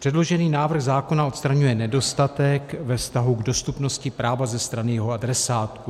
Předložený návrh zákona odstraňuje nedostatek ve vztahu k dostupnosti práva ze strany jeho adresátů.